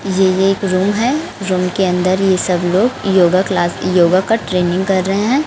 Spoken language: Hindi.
ये एक रूम है रूम के अंदर ये सब लोग योगा क्लास योग का ट्रेनिंग कर रहे हैं।